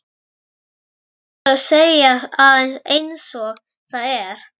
Það verður að segja það einsog það er.